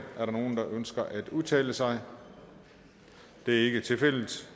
er der nogen der ønsker at udtale sig det er ikke tilfældet